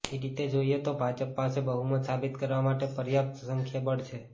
એ રીતે જોઈએ તો ભાજપ પાસે બહુમત સાબિત કરવા માટે પર્યાપ્ત સંખ્યાબળ છે